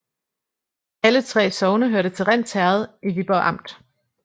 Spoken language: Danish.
Alle 3 sogne hørte til Rinds Herred i Viborg Amt